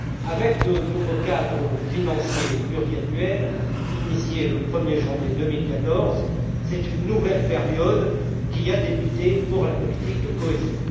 Avec le nouveau cadre financier pluriannuel initié le 1er janvier 2014, c'est une nouvelle période qui a débuté pour la politique de cohésion.